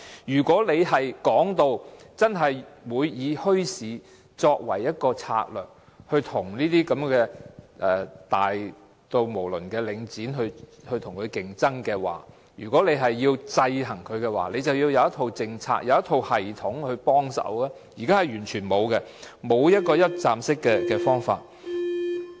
如果說會以墟市作為一種策略，從而與規模如此龐大的領展競爭，又或如果希望制衡它，政府便需要有一套政策和系統，但現時卻完全沒有，缺乏一站式的方法。